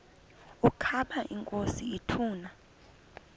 ukaba inkosi ituna